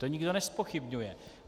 To nikdo nezpochybňuje.